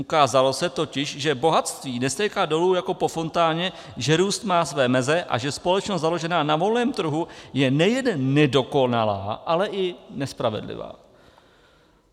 Ukázalo se totiž, že bohatství nestéká dolů jako po fontáně, že růst má své meze a že společnost založená na volném trhu je nejen nedokonalá, ale i nespravedlivá.